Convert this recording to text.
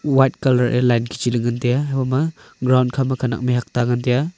white colour ye line kichi ley ngantaiya haiboma ground khama khanak mihhuak ta ngantaiya.